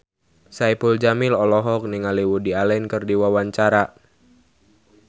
Saipul Jamil olohok ningali Woody Allen keur diwawancara